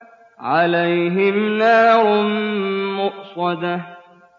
عَلَيْهِمْ نَارٌ مُّؤْصَدَةٌ